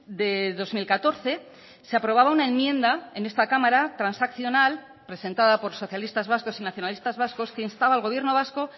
de dos mil catorce se aprobaba una enmienda en esta cámara transaccional presentada por socialistas vascos y nacionalistas vascos que instaba al gobierno vasco